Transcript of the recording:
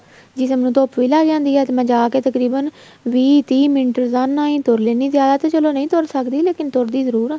ਜਿਸਮ ਨੂੰ ਧੁੱਪ ਵੀ ਲੱਗ ਜਾਂਦੀ ਆ ਤੇ ਮੈਂ ਜਾਕੇ ਤਕਰੀਬਨ ਵੀਹ ਤੀਹ ਮਿੰਟ ਰੋਜ਼ਾਨਾ ਹੀ ਤੁਰ ਲੈਣੀ ਆ ਜਿਆਦਾ ਤੇ ਚਲੋਂ ਨਹੀਂ ਤੁਰ ਸਕਦੀ ਲੇਕਿਨ ਤੁਰਦੀ ਜਰੂਰ ਆ